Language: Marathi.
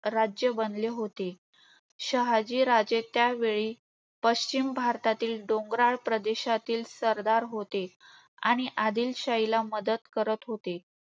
राज्य बनले होते. शहाजीराजे त्यावेळी पश्चिम भारतातील डोंगराळ प्रदेशातील सरदार होते. आणि आदिलशाहीला मदत करत होते